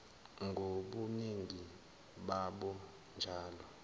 ngobuningi babo kanje